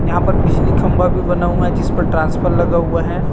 यहाँ पर बिजली खम्भा भी बना हुआ है जिसपर ट्रांसफर लगा हुआ है।